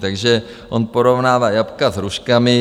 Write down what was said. Takže on porovnává jablka s hruškami.